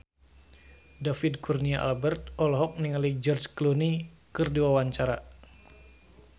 David Kurnia Albert olohok ningali George Clooney keur diwawancara